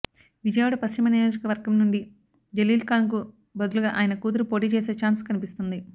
విజయవాడ పశ్చిమ నియోజకవర్గం నుండి జలీల్ఖాన్కు బదులుగా ఆయన కూతురు పోటీ చేసే ఛాన్స్ కన్పిస్తోంది